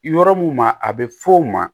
Yɔrɔ mun ma a be f'o ma